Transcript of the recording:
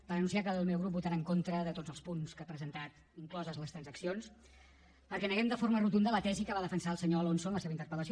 per anunciar que el meu grup votarà en contra de tots els punts que ha presentat incloses les transaccions perquè neguem de forma rotunda la tesi que va defensar el senyor alonso en la seva interpel·lació